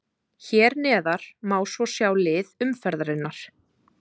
Hér neðar má svo sjá lið umferðarinnar.